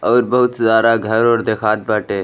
और बहुत सारा घर ओर देखात बाटे।